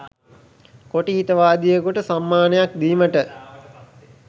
කොටි හිතවාදියෙකුට සම්මානයක් දීමට